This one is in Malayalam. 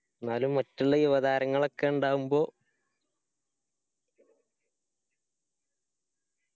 ന്നാലും മറ്റുള്ള യുവതാരങ്ങളൊക്കെ ഇണ്ടാവുമ്പോ